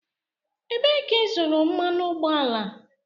Ebee ka ịzụrụ mmanụ ụgbọala?